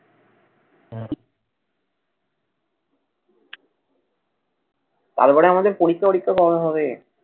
তারপরে আমাদের পরীক্ষা অরিক্ষা কবে হবে?